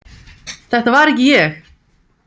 Þetta var ekki ég!